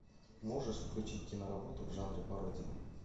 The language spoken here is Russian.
можешь включить киноработу в жанре пародия